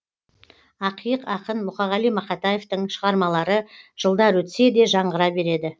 ақиық ақын мұқағали мақатаевтың шығармалары жылдар өтсе де жаңғыра береді